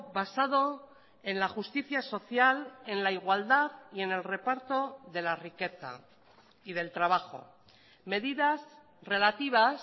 basado en la justicia social en la igualdad y en el reparto de la riqueza y del trabajo medidas relativas